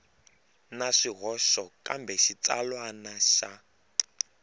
na swihoxo kambe xitsalwana xa